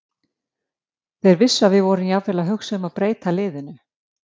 Þeir vissu að við vorum jafnvel að hugsa um að breyta liðinu.